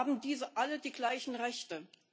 Haben diese alle die gleichen Rechte?